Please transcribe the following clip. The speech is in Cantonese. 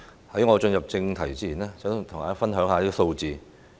在我進入正題前，想跟大家分享一些數字。